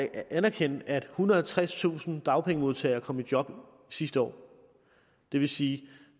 anerkende at ethundrede og tredstusind dagpengemodtagere kom i job sidste år det vil sige at